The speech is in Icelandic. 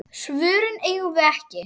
Svörin eigum við ekki.